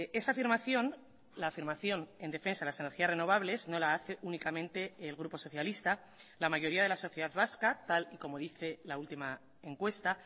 esa afirmación la afirmación en defensa de las energías renovables no la hace únicamente el grupo socialista la mayoría de la sociedad vasca tal y como dice la última encuesta